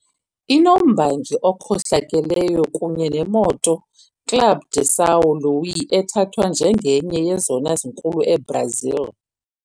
Inombangi okhohlakeleyo kunye neMoto Club de São Luís ethathwa njengenye yezona zinkulu eBrazil.